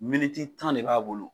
Miniti tan de b'a bolo